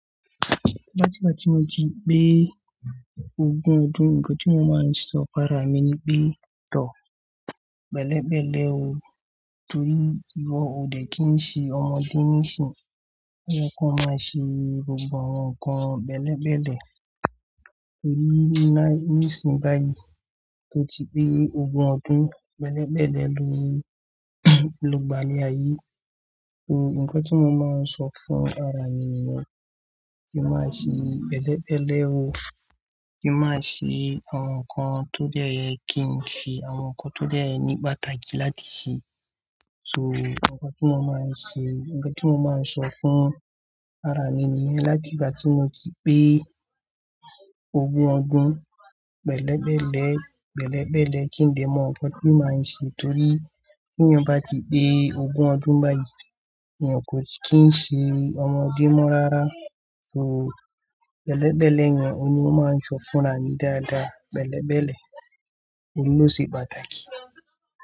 Láti ìgbà tí mo ti pé ogún ọdún, nǹkan tí mo máa ń sọ fún ara mi ni pé, tọ̀, pẹ́lẹ̀pẹ́lẹ̀ o, torí ìwọ ò dẹ́kìn sí ọmọdé níìsín, to ye kọ́ máa ṣe gbògbo àwọn nǹkan bẹ́lẹ̀bẹ́lẹ̀. Torí níìsín báyìí tó ti pé ogún ọdún, pẹ́lẹ̀pẹ́lẹ̀ ló gbailẹ̀ ayé. Nǹkan tí mo máa ń sọ fún ara mi nìyẹn, kí n má ṣe pelẹ̀pẹ́lẹ̀ o, kí n má ṣe àwọn nǹkan tó dé ye kí n ṣe àwọn nǹkan tó dé ní pàtàkì láti ṣe. So, nǹkan tí mo máa ń ṣe, nǹkan tí mo máa ń sọ fún ara mi nìyẹn láti ìgbà tí mo ti pé ogún ọdún pẹ́lẹ̀pẹ́lẹ̀, pẹ́lẹ̀pẹ́lẹ̀ kí n dè mon, nǹkan tí màá ń ṣe torí bí èyàn bá ti pé ogún ọdún báyìí, èyàn kò kí ń ṣe ọmọdé mọ́ rárá. So, bẹ́lẹ̀bẹ́lẹ̀ yẹn ni mo máa ń sọ fún ara mi dáadáa, bẹ́lẹ̀bẹ́lẹ̀ ohun lọ́ sì pàtàkì.